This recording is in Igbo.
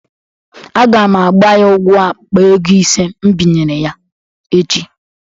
Aga m agba ya ụgwọ akpa ego ise m binyere ya echi